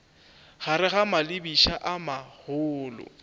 gare ga malebiša a magolo